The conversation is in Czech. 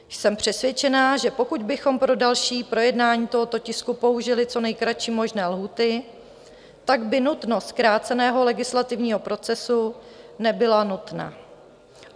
Jsem přesvědčená, že pokud bychom pro další projednání tohoto tisku použili co nejkratší možné lhůty, pak by nutnost zkráceného legislativního procesu nebyla nutná.